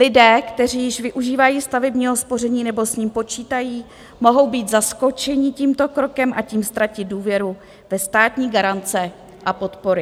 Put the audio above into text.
Lidé, kteří již využívají stavebního spoření nebo s ním počítají, mohou být zaskočeni tímto krokem a tím ztratit důvěru ve státní garance a podpory.